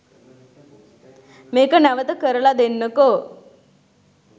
මේක නැවත කරල දෙන්නකෝ